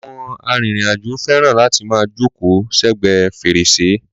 Àwọn arìnrìn-àjò fẹràn láti máa jókòó sẹ́gbẹ̀ẹ́ fèrèsé.